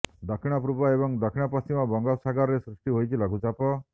ଦକ୍ଷିଣ ପୂର୍ବ ଏବଂ ଦକ୍ଷିଣ ପଶ୍ଚିମ ବଙ୍ଗୋପସାଗରରେ ସୃଷ୍ଟି ହୋଇଛି ଲଘୁଚାପ